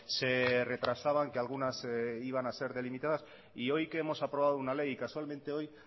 se retrasaban que algunas iban a ser delimitadas y hoy que hemos aprobado una ley casualmente hoy